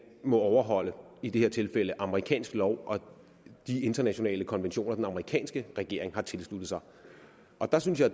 må overholde i det her tilfælde amerikansk lov og de internationale konventioner den amerikanske regering har tilsluttet sig der synes jeg